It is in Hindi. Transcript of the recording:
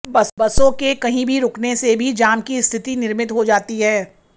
बसों के कहीं भी रुकने से भी जाम की स्थिति निर्मित हो जाती है